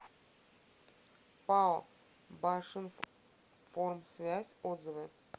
пао башинформсвязь отзывы